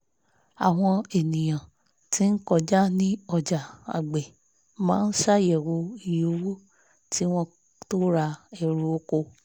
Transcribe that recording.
àwọn ènìyàn tí ń kọjá ní ọjà agbẹ̀ máa ń ṣàyẹ̀wò iye owó kí wọ́n tó ra ẹ̀rù oko